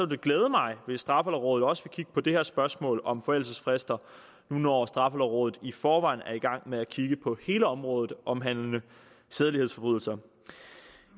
det glæde mig hvis straffelovrådet også vil kigge på det her spørgsmål om forældelsesfrister nu når straffelovrådet i forvejen er i gang med at kigge på hele området omhandlende sædelighedsforbrydelser